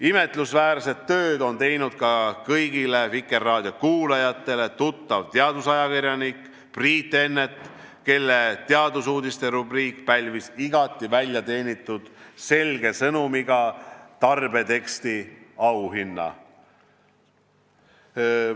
Imetlusväärset tööd on teinud ka kõigile Vikerraadio kuulajatele tuttav teadusajakirjanik Priit Ennet, kelle teadusuudiste rubriik pälvis igati väljateenitult selge sõnumiga tarbeteksti auhinna.